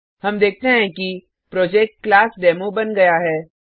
हम देखते हैं कि प्रोजेक्ट क्लासडेमो बन गया है